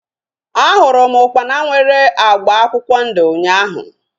A hụrụ m ukpana nwere agba akwụkwọ ndụ ụnyaahụ